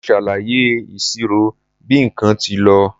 Mo ṣàlàyé ìṣirò bí nǹkan tí lọ.